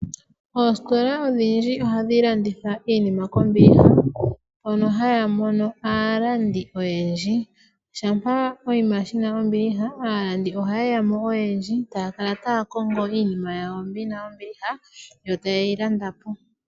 Oostola odhindji ohadhi landitha iinima kombiliha mono haya mono aalandi oyendji. Shampa oshinima dhina ombiliha aalandi ohaye ya mo oyendji e taya kala taya kongo iinima yawo mbi yina ombiliha, yo taye yi landa po.